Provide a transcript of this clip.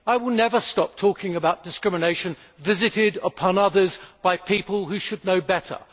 I will never stop talking about discrimination visited upon others by people who should know better.